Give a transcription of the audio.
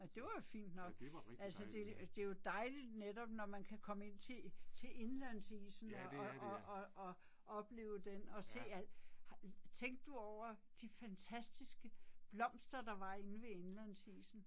Ja det var jo fint nok. Altså det det er jo dejligt netop når man kan komme ind til til indlandsisen og og og og og opleve den og se al tænkte du over, de fantastiske blomster, der var inde ved indlandsisen?